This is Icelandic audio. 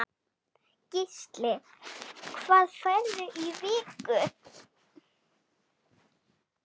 Gísli: Hvað færðu á viku?